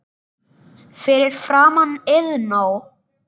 Fyrir framan Iðnó.